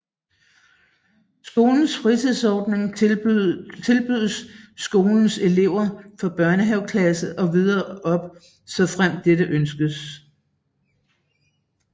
Skolens fritidsordning tilbydes skolens elever fra børnehaveklassen og videre op såfremt dette ønskes